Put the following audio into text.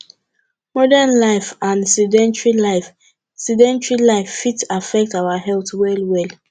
modern life and sedentry life sedentry life fit affect our health well well